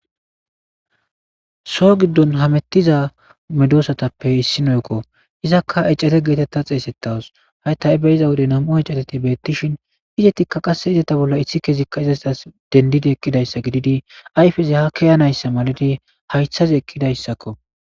so giddon hamettiza medosatappe issinoykko izakka ecare geetetta xeesettawos hayta7e be iza wode nam7o ecateti beettishin izetikka qasse izeta bolla issi kezikka izastas dendidi eqqidayssa gididi ayfeze ha keyanayssa maladi haythazi eqqidayssakko